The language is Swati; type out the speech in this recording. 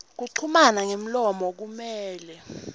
kuchumana ngemlomo kumele